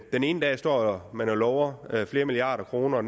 den ene dag står man og lover flere milliarder kroner og